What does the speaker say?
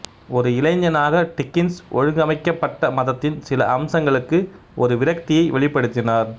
ஒரு இளைஞனாக டிக்கின்ஸ் ஒழுங்கமைக்கப்பட்ட மதத்தின் சில அம்சங்களுக்கு ஒரு விரக்தியை வெளிப்படுத்தினார்